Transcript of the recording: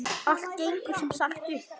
Allt gengur sem sagt upp!